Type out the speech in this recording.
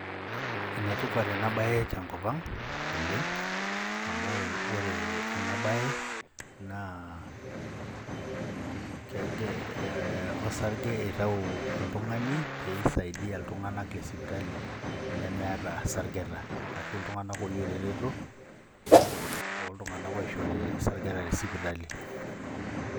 Enetipat ena bae tenkopang naleng' amu ore enabaye naa olsarge eitayu oltungani pee eisaidia iltunganak lesipitali lemeeta isargeta ashu iltunganak ooyieu eretoto too tunganak oishori isargeta tesipitali.